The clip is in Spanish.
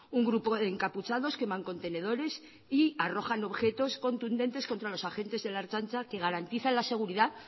un grupo de encapuchados queman contenedores y arrojan objetos contra los agentes de la ertzaintza que garantizan la seguridad